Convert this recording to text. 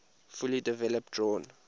fully developed drawn